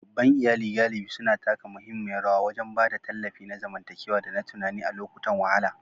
Babban iyali galibi suna taka muhimmiyar rawa wajen ba da tallafi na zamantakewa da na tunani a lokutan wahala.